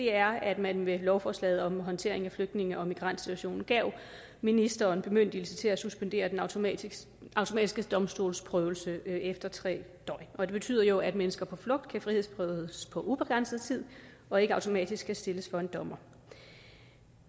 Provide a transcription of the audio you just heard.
er at man med lovforslaget om håndtering af flygtninge og migrantsituationen gav ministeren bemyndigelse til at suspendere den automatiske automatiske domstolsprøvelse efter tre døgn og det betyder jo at mennesker på flugt kan frihedsberøves på ubegrænset tid og ikke automatisk skal stilles for en dommer